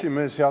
Hea esimees!